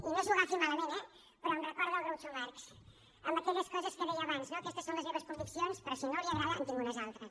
i no s’ho agafi malament eh però em recorda el groucho marx amb aquelles coses que deia abans no aquestes són les meves conviccions però si no li agraden en tinc unes altres